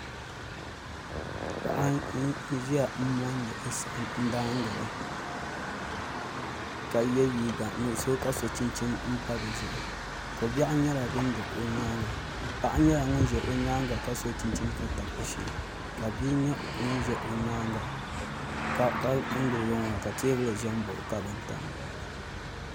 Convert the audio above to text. Paɣa n ʒiya n mondi saɣim daangini ka ye liiga nuɣuso ka so chinchini m pa di zuɣu kobiɛɣu nyela din do o nyaaŋa paɣa nyela ŋun ʒi o nyaaŋa ka tabi o shee ka bii nye ŋun ʒi o nyaaŋa ka teebuli ʒe m baɣi o ka bin tam di zuɣu.